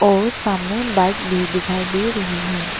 और सामने बाइक भी दिखाई दे रही है।